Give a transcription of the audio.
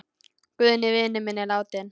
Guðni vinur minn er látinn.